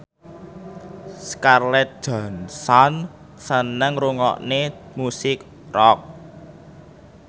Scarlett Johansson seneng ngrungokne musik rock